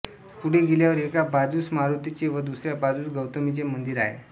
पुढे गेल्यावर एका बाजूस मारुतीचे व दुसऱ्या बाजूस गौतमीचे मंदिर आहे